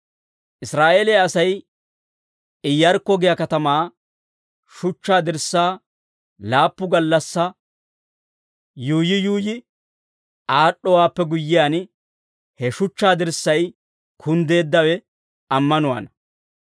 Israa'eeliyaa Asay Iyyarkko giyaa katamaa shuchchaa dirssaa laappu gallassaa yuuyyi yuuyyi aad'd'owaappe guyyiyaan, he shuchchaa dirssay kunddeeddawe ammanuwaana.